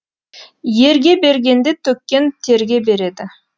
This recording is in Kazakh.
ерге бергенде төккен терге береді